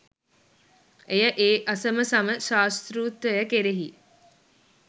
එය ඒ අසමසම ශාස්තෘත්වය කෙරෙහි